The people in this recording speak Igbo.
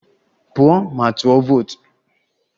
Pụọ ma tụọ vootu!